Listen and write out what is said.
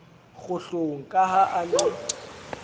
kgohlong ka ha a ne